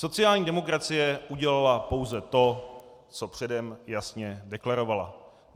Sociální demokracie udělala pouze to, co předem jasně deklarovala.